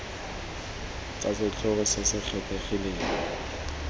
tsa setlhogo se se kgethegileng